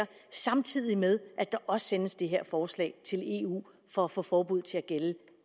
samtidig med at der også sendes det her forslag til eu for at få forbuddet til at gælde